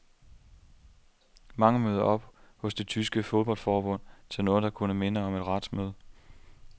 Mange møder op hos det tyske fodboldforbund til noget, der kunne minde om et retsmøde.